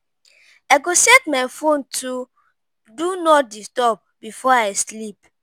I go set my phone to “Do Not Disturb” before I sleep.